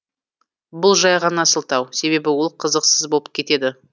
бұл жай ғана сылтау себебі ол қызықсыз болып кетеді